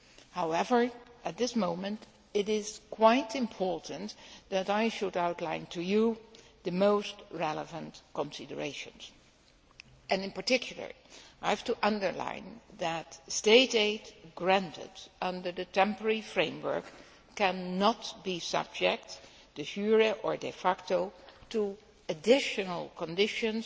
However, at this moment, it is quite important that I should outline to you the most relevant considerations. In particular, I have to underline that State aid granted under the temporary framework cannot be subject, de jure or de facto to additional conditions